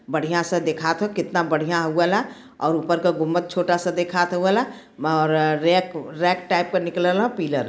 बढ़ियां सा देखात ह केतना बढ़िया हउ आला और ऊपर क गुंबद छोटा सा देखात ह हउ वाला ब् और अ रेक रेक टैप क निकलल ह पिलर ।